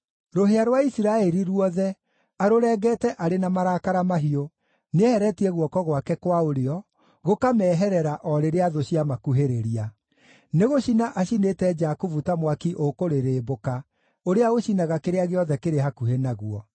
Rũhĩa rwa Isiraeli ruothe arũrengete arĩ na marakara mahiũ. Nĩeheretie guoko gwake kwa ũrĩo, gũkameeherera o rĩrĩa thũ ciamakuhĩrĩria. Nĩgũcina acinĩte Jakubu ta mwaki ũkũrĩrĩmbũka, ũrĩa ũcinaga kĩrĩa gĩothe kĩrĩ hakuhĩ naguo.